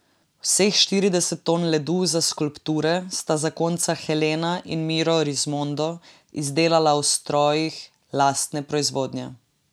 Vseh štirideset ton ledu za skulpture sta zakonca Helena in Miro Rismondo izdelala v strojih lastne proizvodnje.